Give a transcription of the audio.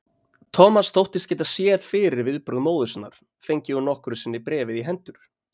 Thomas þóttist geta séð fyrir viðbrögð móður sinnar, fengi hún nokkru sinni bréfið í hendur.